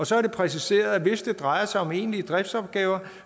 så er det præciseret at hvis det drejer sig om egentlige driftsopgaver